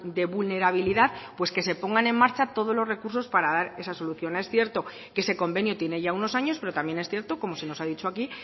de vulnerabilidad pues que se pongan en marcha todos los recursos para dar esa solución es cierto que ese convenio tiene ya unos años pero también es cierto como se nos ha dicho aquí